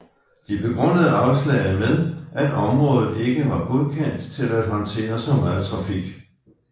De begrundede afslaget med at området ikke var godkendt til at håndtere så meget trafik